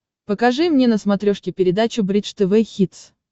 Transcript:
покажи мне на смотрешке передачу бридж тв хитс